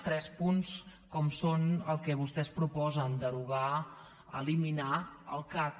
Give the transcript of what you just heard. tres punts com són els que vostès proposen derogar eliminar el cac